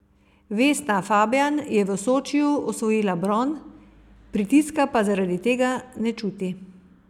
Vesna Fabjan je v Sočiju osvojila bron, pritiska pa zaradi tega ne čuti.